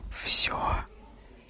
все